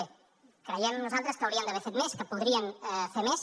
bé creiem nosaltres que haurien d’haver fet més que podrien fer més